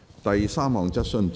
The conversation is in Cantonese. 第三項質詢。